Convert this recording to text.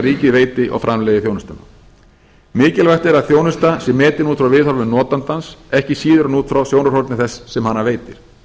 ríkið veiti og framleiði þjónustuna mikilvægt er að þjónusta sé metin út frá viðhorfi notandans ekki síður en út frá sjónarhorni þess sem hana veitir